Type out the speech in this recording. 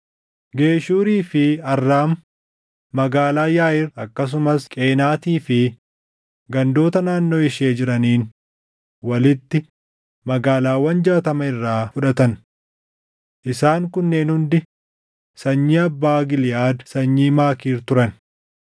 Geshuurii fi Arraam, magaalaa Yaaʼiir akkasumas Qeenaatii fi gandoota naannoo ishee jiraniin walitti magaalaawwan jaatama irraa fudhatan. Isaan kunneen hundi sanyii abbaa Giliʼaad sanyii Maakiir turan.